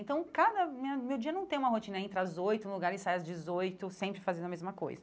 Então, cada... minha meu dia não tem uma rotina entre as oito, no lugar eu ensaio às dezoito, sempre fazendo a mesma coisa.